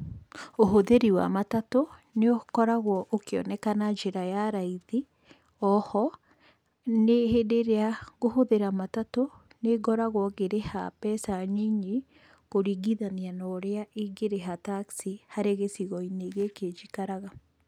Ũhũthĩri wa matatũ nĩũkoragwo ũkĩoneka na njĩra ya raithi, o ho hĩndĩ ĩrĩa ngũhũthĩra matatũ, nĩngoragwo ngĩrĩha mbeca nyinyi kũringithania ũrĩa ingĩrĩha taxi harĩ gĩcigo gĩkĩ njikaraga.